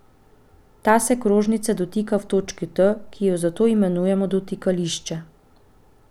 Ta se krožnice dotika v točki T, ki jo zato imenujemo dotikališče.